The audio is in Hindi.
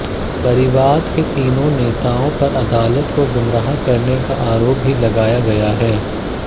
परिवाद नें तीनों नेताओं पर अदालत को गुमराह करने का आरोप भी लगाया गया है